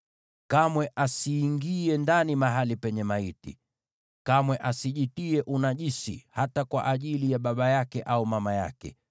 Kamwe asiingie mahali palipo maiti ndani. Kamwe asijitie unajisi, hata kwa ajili ya baba yake au mama yake,